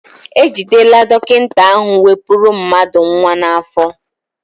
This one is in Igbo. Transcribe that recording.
E jidela dọkịta ahụ wepụrụ mmadụ nnwa n'afọ.